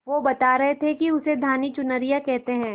वो बता रहे थे कि उसे धानी चुनरिया कहते हैं